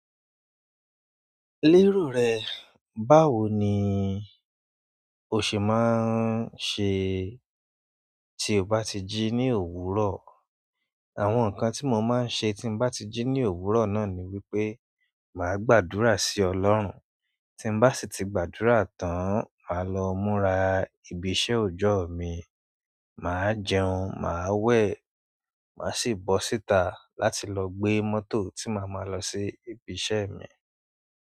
Lérò rẹ, báwo ni o ṣe máa ń ṣe tí o bá ti ji ní òwúrọ̀? Àwọn nǹkan tí mo máa ń ṣe tí n bá ti ji ní òwúrọ̀ náà ni wípé màá gbàdúrà sí Ọlọ́run. Tí n bá sì ti gbàdúrà tán, màá lọ múra ibi iṣẹ́ ọjọ́ mi, màá jẹun, màá we, màá sì bọ́ síta láti lọ gbé mọ́tò tí màá máa lọ sí ibi iṣẹ́ mi.